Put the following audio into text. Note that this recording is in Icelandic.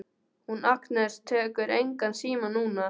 Hún Agnes tekur engan síma núna.